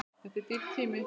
Þetta er dýr tími.